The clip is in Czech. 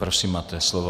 Prosím, máte slovo.